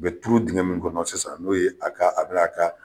A bɛ turu dingɛ min kɔnɔ sisan n'o ye a ka a bɛ n'a ka